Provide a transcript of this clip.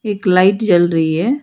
एक लाइट जल रही है।